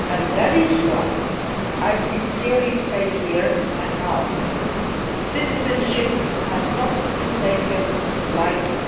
EU. That is why I sincerely say here and now that citizenship cannot be taken lightly.